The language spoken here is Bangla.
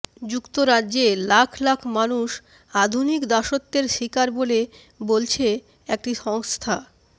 যুক্তরাজ্যে লাখ লাখ মানুষ আধুনিক দাসত্বের শিকার বলে বলছে একটি সংস্থা